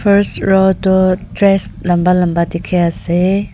first row to dress lamba lamba dekhi ase.